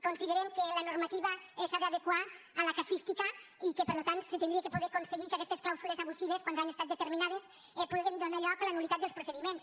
considerem que la normativa s’ha d’adequar a la casuística i que per tant s’hauria de poder aconseguir que aquestes clàusules abusives quan ja han estat determinades puguen donar lloc a la nuldiments